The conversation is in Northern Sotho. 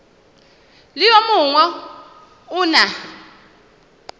le yo mongwe o na